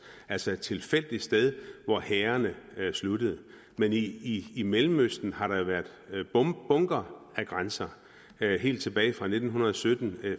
altså et tilfældigt sted hvor hærene sluttede men i i mellemøsten har der været bunker af grænser helt tilbage fra nitten sytten